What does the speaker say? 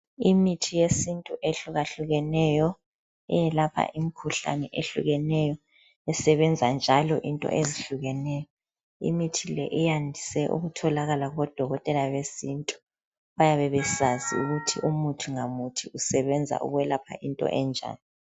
Imithi yesintu ehlukahlukeneyo eyelaoha imikhuhlane ehlukeneyo isebenza njalo into ezihlukeneyo. Imithi le iyandise ukutholakala kubodokotela besintu bayabe besazi ukuthi umuthi ngamuthi usebenza ukwelapha into enjani.